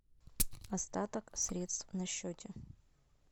остаток средств на счете